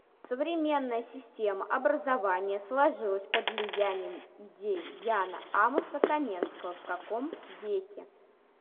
современная система образования сложилась под влиянием идей яна амоса коменского в каком веке